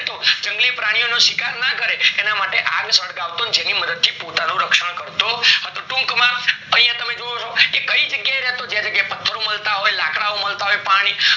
તો જંગલી પ્રાણીઓનો શિકાર ના કરે એના માટે આગ સળગાવતો જેની મદદ થી પોતાનું રક્ષણ કરતો ટુક માં યા તમે જોવો છો, કે કાય જગ્યા એ રેતો કે જે જગ્યાએ પથર મળતા હોય લાકડાઓ મળતા હોય પાણી